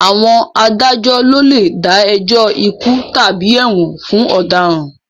Àwọn adájọ́ ló lè dá ẹjọ́ ikú tàbí ẹ̀wọ̀n fún àwọn ọ̀daràn